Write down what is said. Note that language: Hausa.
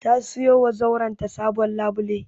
Ta siyowa zauren ta sabon labule.